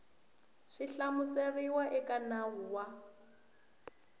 swi hlamuseriwaka eka nawu wa